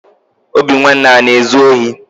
Obinwanne ana ezu ohi?